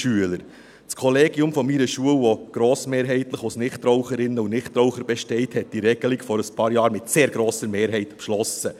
Das Kollegium meiner Schule, das grossmehrheitlich aus Nichtraucherinnen und Nichtrauchern besteht, hat diese Regelung vor ein paar Jahren mit sehr grosser Mehrheit beschlossen.